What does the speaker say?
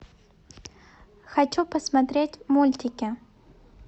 хочу посмотреть мультики